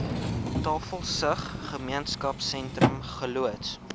tafelsig gemeenskapsentrum geloods